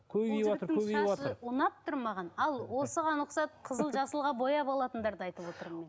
ұнап тұр маған ал осыған ұқсап қызыл жасылға бояп алатындарды айтып отырмын мен